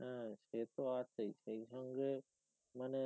হ্যা সেতো আছেই সে সঙ্গে মানে